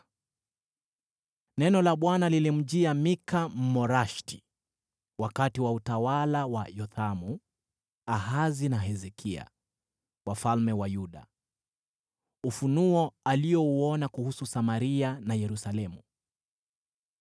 Neno la Bwana lilimjia Mika, Mmoreshethi, wakati wa utawala wa Yothamu, Ahazi na Hezekia, wafalme wa Yuda; ufunuo aliouona kuhusu Samaria na Yerusalemu.